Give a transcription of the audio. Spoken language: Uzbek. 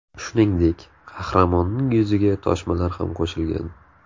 Shuningdek, qahramonning yuziga toshmalar ham qo‘shilgan.